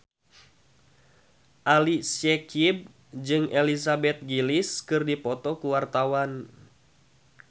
Ali Syakieb jeung Elizabeth Gillies keur dipoto ku wartawan